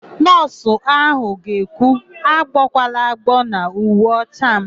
Nọọsụ áhụ̀ ga-ekwu, "agbọkwala agbọọ n'uwe ọcha m"!